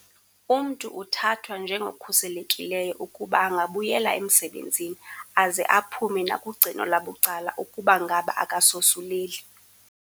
Umntu uthathwa njengokhuselekileyo ukuba angabuyela emsebenzini aze aphume nakugcino labucala ukuba ngaba akasosuleli.